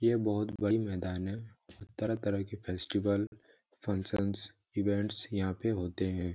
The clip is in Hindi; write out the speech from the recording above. यह बहुत बड़ी मैदान है तरह-तरह के फेस्टिवल फँकसंस इवेंट्स यहाँ पे होते हैं।